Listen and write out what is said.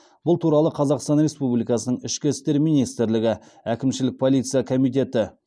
бұл туралы қазақстан республикасының ішкі істер министрлігі әкімшілік полиция комитеті